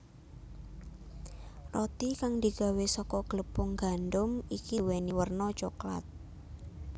Roti kang digawé saka glepung gandum iki nduwèni werna coklat